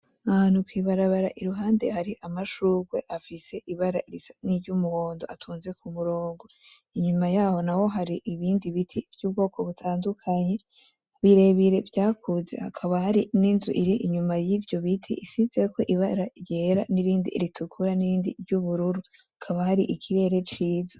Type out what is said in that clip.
Ahantu kw’ibarabara iruhande hari amashurwe afise ibara risa niry'umuhondo atonze kumurongo inyuma Yaho naho hari ibindi ibiti vy'ubwoko butandukanye birebire vya kuze hakaba hari n'inzu ir'inyuma y'ivyo biti isizeko ibara ryera n'irindi ritukura n'irindi ry'ubururu hakaba hari ikirere ciza.